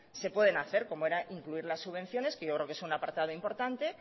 se pueden hacer como era incluir las subvenciones que yo creo que es un apartado importante